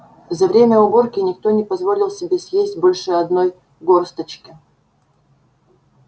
за время уборки никто не позволил себе съесть больше одной горсточки